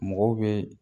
Mɔgɔw bɛ